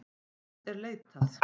Hans er leitað.